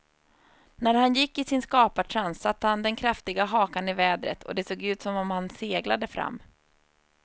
När han gick i sin skapartrans satte han den kraftiga hakan i vädret och det såg ut som om han seglade fram.